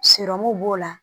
b'o la